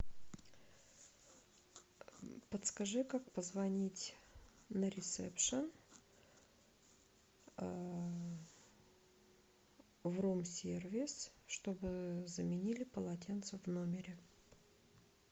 подскажи как позвонить на ресепшен в рум сервис чтобы заменили полотенце в номере